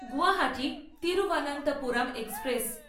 Guwahati Thiruvananthapuram express